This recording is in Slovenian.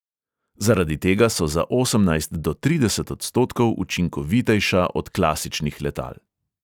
Zaradi tega so za osemnajst do trideset odstotkov učinkovitejša od klasičnih letal.